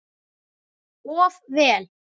Of vel.